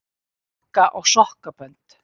Sokka og sokkabönd.